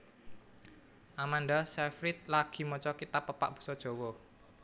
Amanda Seyfried lagi maca kitab pepak basa Jawa